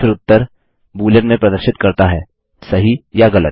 और फिर उत्तर बूलियन में प्रदर्शित करता है सही या गलत